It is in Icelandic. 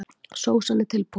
Sósan er tilbúin.